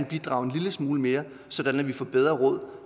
bidrage en lille smule mere sådan at vi netop får bedre råd